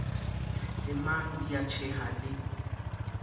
lemang di a tjheha di